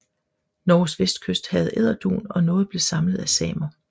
Norges vestkyst havde edderdun og noget blev samlet af samer